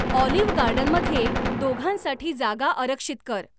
Olive गार्डनमध्ये दोघांसाठी जागा आरक्षित कर.